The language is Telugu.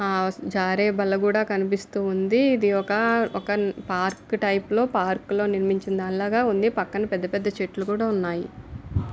ఆ జారే బల్ల కూడా కనిపిస్తుంది. ఇది ఒక ఒక పార్కు టైపు లొ పార్కు లో నిర్మించిన దానిలాగా ఉంది. పక్కన పెద్ద పెద్ద చెట్లు కూడా ఉన్నాయి.